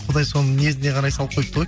құдай соның ниетіне қарай салып қойыпты ғой